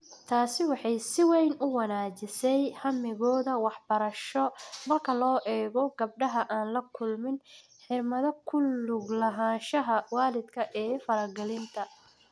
Taasi waxay si weyn u wanaajisay hammigooda waxbarasho marka loo eego gabdhaha aan la kulmin xirmada ku lug lahaanshaha waalidka ee faragelinta.